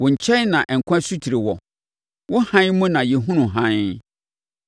Wo nkyɛn na nkwa asutire wɔ; wo hann mu na yɛhunu hann.